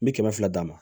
N bi kɛmɛ fila d'a ma